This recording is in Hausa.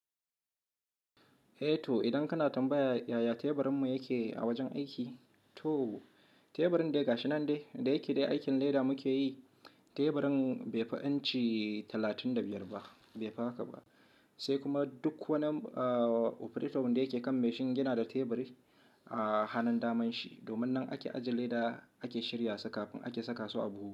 Eh to idan kana tambaya yaya teburinmu yake a wajen aiki? To teburin dai ga shi nan dai, da yake dai aikin dai da muke yi, teburin bai fi inci talatin da biyar ba, bai fi haka ba. Sai kuma duk wani operator wanda yake kan machine yana da teburi a hannun daman shi. Domin nan ake ajiye leda ake shirya su kafin ake saka su a buhu.